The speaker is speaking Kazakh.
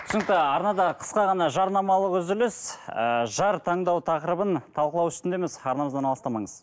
түсінікті арнада қысқа ғана жарнамалық үзіліс ыыы жар таңдау тақырыбын талқылау үстіндеміз арнамыздан алыстамаңыз